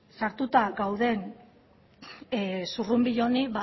sartuta gauden zurrunbilo honi